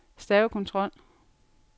stavekontrol